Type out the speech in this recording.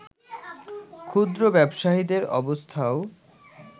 ক্ষুদ্র ব্যবসায়ীদের অবস্থাও